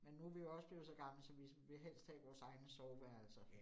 Min nu vi jo også blevet så gamle, så vi vil helst have vores egne soveværelser